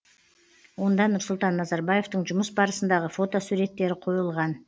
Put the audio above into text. онда нұрсұлтан назарбаевтың жұмыс барысындағы фотосуреттері қойылған